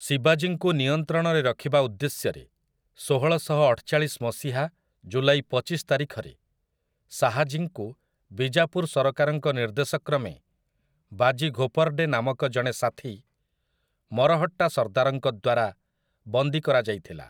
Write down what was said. ଶିବାଜୀଙ୍କୁ ନିୟନ୍ତ୍ରଣରେ ରଖିବା ଉଦ୍ଦେଶ୍ୟରେ, ଷୋହଳଶହଅଠଚାଳିଶି ମସିହା ଜୁଲାଇ ପଚିଶି ତାରିଖରେ ଶାହାଜୀଙ୍କୁ ବିଜାପୁର୍ ସରକାରଙ୍କ ନିର୍ଦ୍ଦେଶକ୍ରମେ ବାଜି ଘୋର୍ପଡ଼େ ନାମକ ଜଣେ ସାଥୀ ମରହଟ୍ଟା ସର୍ଦ୍ଦାରଙ୍କ ଦ୍ୱାରା ବନ୍ଦୀ କରାଯାଇଥିଲା ।